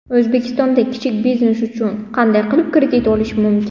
O‘zbekistonda kichik biznes uchun qanday qilib kredit olishi mumkin?.